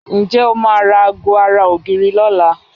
Ǹjẹ́ o máa ra aago ara ògiri lọ́la?